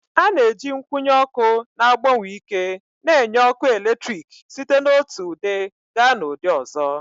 A na-eji nkwụnye ọkụ na-agbanwe ike n'enye ọkụ eletrik site n'otu ụdị gaa n'ụdị ọzọ